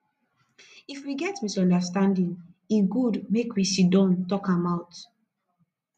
if we get misunderstanding e good make we sidon talk am out